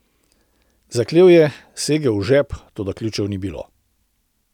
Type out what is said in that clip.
Zaklel je, segel v žep, toda ključev ni bilo.